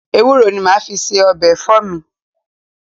Ewúro ni mo máa fi ń se ọbẹ̀ ẹ̀fọ́ mi